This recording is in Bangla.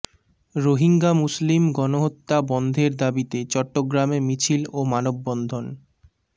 রোহিঙ্গা মুসলিম গণহত্যা বন্ধের দাবিতে চট্টগ্রামে মিছিল ও মানববন্ধন